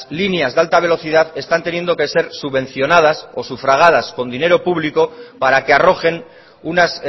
líneas de alta velocidad están teniendo que ser subvencionadas o sufragadas con dinero público para que arrojen unas